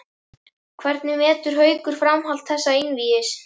Hvernig metur Haukur framhald þessa einvígis?